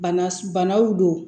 Bana banaw don